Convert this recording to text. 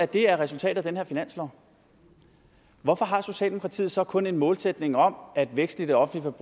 det er resultatet af den her finanslov hvorfor har socialdemokratiet så kun en målsætning om at væksten i det offentlige